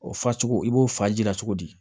O fa cogo i b'o fa ji la cogo di